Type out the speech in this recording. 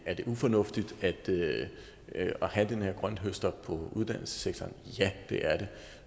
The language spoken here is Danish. ufornuftigt at have den her grønthøster i uddannelsessektoren ja det er det